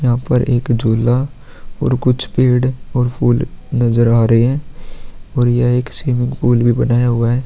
यहाँ पर एक झूला और कुछ पेड़ और फूल नज़र आरहे है और यह एक स्विमिंग पूल भी बनाया हुआ है।